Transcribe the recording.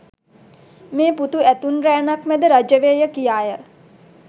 මේ පුතු ඇතුන් රෑනක් මැද රජ වේය කියාය